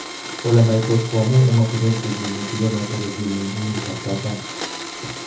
Ole maitos ko amu ematinuek che kimii tuyoo notok ko mii eng kikundit ap kataam